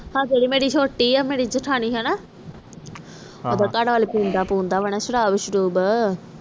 ਆਹ ਜਿਹੜੇ ਮੇਰੀ ਛੋਟੀ ਆ ਮੇਰੀ ਜੇਠਾਣੀ ਹਨ ਓਹਦਾ ਘਰਵਾਲਾ ਪੈਂਦਾ ਪਉਂਦਾ ਵਾ ਨਾ ਸ਼ਰਾਬ ਸ਼ਰੂਬ